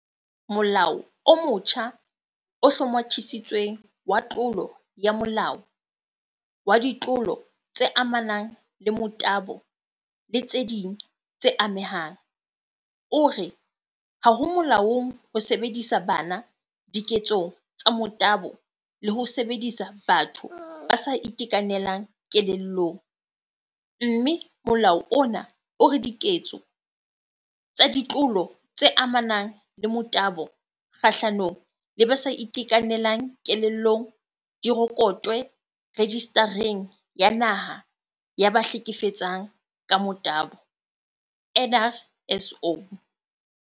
Molao o motjha o hlomathisitsweng wa tlolo ya molao wa ditlolo tse amanang le motabo le tse ding tse amehang o re ha ho molaong ho sebedisa bana diketsong tsa motabo le ho sebedisa batho ba sa itekanelang kelellong, mme molao ona o re diketso tsa ditlolo tse amanang le motabo kgahlano le ba sa itekanelang kelellong di rekotwe Rejista reng ya Naha ya ba Hleke fetsang ka Motabo NRSO.